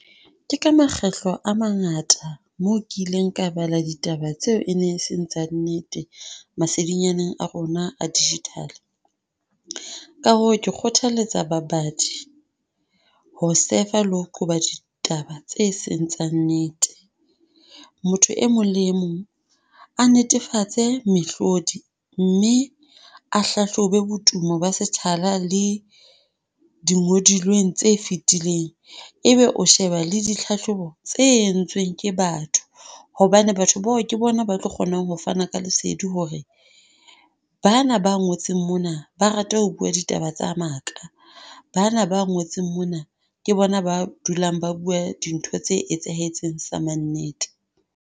Ke ka makgetlo a mangata moo kileng ka bala ditaba tseo e ne e seng tsa nnete masedinyaneng a rona a digital. Ka hoo kgothaletsa babadi, ho sefa le ho qoba ditaba tseo e seng tsa nnete. Motho e mong le mong a netefatse mehlodi, mme a hlahlobe botumo ba sethala le di ngodilweng tse fetileng, ebe o sheba le di tlhahlobo tse entsweng ke batho, hobane batho bao ke bona ba tlo kgonang ho fana ka lesedi hore bana ba ngotseng mona ba rata ho bua ditaba tsa maka, bana ba ngotseng mona, ke bona ba dulang ba bua dintho tse etsahetseng sa mannete.